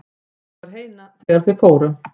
Pabbi var heima þegar þeir fóru.